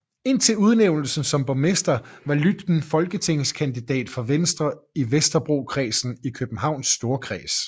Indtil udnævnelsen som borgmester var Lütken folketingskandidat for Venstre i Vesterbrokredsen i Københavns Storkreds